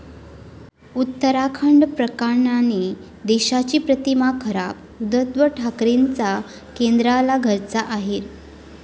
उत्तराखंड प्रकरणाने देशाची प्रतिमा खराब, उद्धव ठाकरेंचा केंद्राला घरचा अहेर